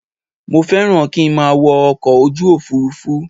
Mo fẹ́ràn kí n má a wọ ọkọ̀ ojú òfurufú